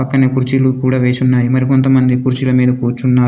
పక్కనే కుర్చీలు కుడా వేసి ఉన్నాయి. మరి కొంతమంది కుర్చీల మీద కూర్చున్నారు.